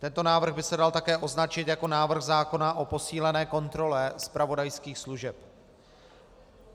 Tento návrh by se dal také označit jako návrh zákona o posílené kontrole zpravodajských služeb.